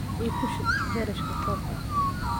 Ii Ku shub boorashka koobka.